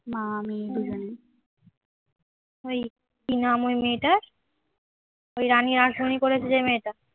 ওই কি নাম ওই মেয়েটার ওই রানী রাসমণি করেছে যে মেয়েটা